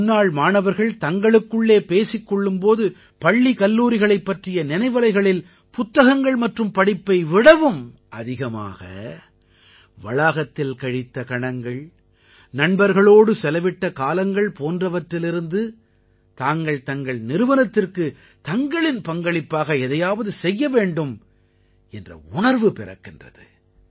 முன்னாள் மாணவர்கள் தங்களுக்குள்ளே பேசிக் கொள்ளும் போது பள்ளி கல்லூரிகளைப் பற்றிய நினைவலைகளில் புத்தகங்கள் மற்றும் படிப்பை விடவும் அதிகமாக வளாகத்தில் கழித்த கணங்கள் நண்பர்களோடு செலவிட்ட காலங்கள் போன்றவற்றிலிருந்து தாங்கள் தங்கள் நிறுவனத்திற்கு தங்களின் பங்களிப்பாக எதையாவது செய்ய வேண்டும் என்ற உணர்வு பிறக்கின்றது